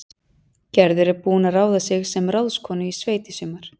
Gerður er búin að ráða sig sem ráðskonu í sveit í sumar